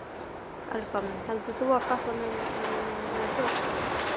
Helga: Heldur þú að Katla muni gjósa?